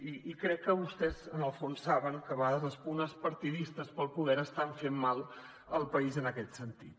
i crec que vostès en el fons saben que a vegades les pugnes partidistes pel poder estan fent mal al país en aquest sentit